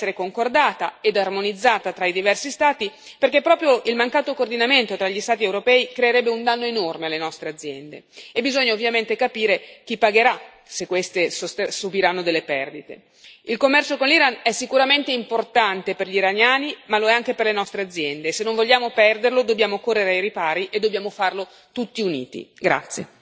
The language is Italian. Ogni misura dovrebbe essere concordata e armonizzata tra i diversi Stati, perché proprio il mancato coordinamento tra gli Stati europei creerebbe un danno enorme alle nostre aziende. E bisogna ovviamente capire chi pagherà se queste subiranno delle perdite. Il commercio con l'Iran è sicuramente importante per gli iraniani, ma lo è anche per le nostre aziende, e se non vogliamo perderlo dobbiamo correre ai ripari e dobbiamo farlo tutti uniti.